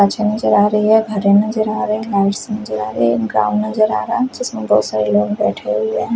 अच्छी नजर आ रही हैं घरे नजर आ रहे लाइट्स नजर आ रहे ग्राउंड नजर आ रहा जिसमे बहुत सारे लोग बैठे हुए हैं।